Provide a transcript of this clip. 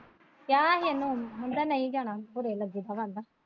ਕਿਹਾ ਹੀ ਉਹਨਾਂ ਨੂੰ ਕਹਿੰਦਾ ਨਹੀਂ ਜਾਣਾ .